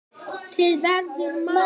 En skiptir veður máli?